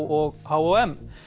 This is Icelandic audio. og